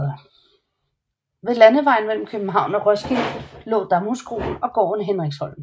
Ved landevejen mellem København og Roskilde lå Damhuskroen og gården Hendriksholm